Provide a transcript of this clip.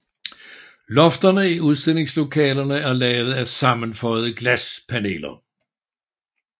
Lofterne i udstillingslokalerne er lavet af sammenføjede glaspaneler